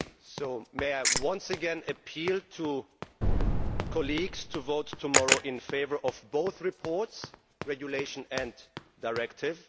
So may I once again appeal to colleagues to vote tomorrow in favour of both reports, the regulation and the directive.